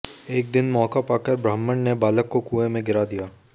एक दिन मौका पाकर ब्राह्मण ने बालक को कुएं में गिरा दिया